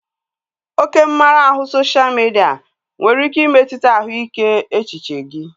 Oke mmara ahụ sosha midia nwere ike imetụta ahụike echiche gị